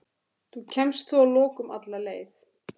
Þú kemst þó að lokum alla leið.